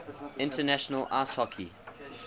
international ice hockey